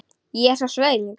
Ég er svo svöng.